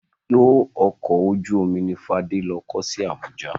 Ibùdó ọkọ̀ ojú omi ni Fádé lọ kọ́ sí Abuja.